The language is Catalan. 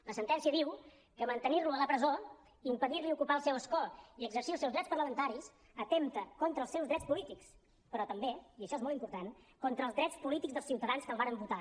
la sentència diu que mantenir lo a la presó impedir li ocupar el seu escó i exercir els seus drets parlamentaris atempta contra els seus drets polítics però també i això és molt important contra els drets polítics dels ciutadans que el varen votar